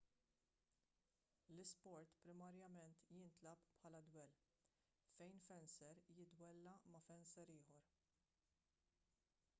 l-isport primarjament jintlagħab bħala dwell fejn fenser jiddwella ma' fenser ieħor